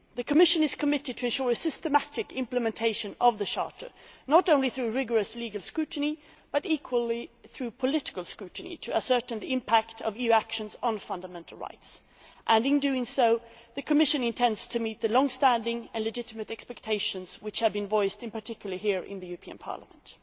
The Commission is committed to ensuring systematic implementation of the Charter, not only through rigorous legal scrutiny but equally through political scrutiny to ascertain the impact of EU actions on fundamental rights, and in doing so it intends to meet the long standing and legitimate expectations which have been voiced in particular here in the European Parliament.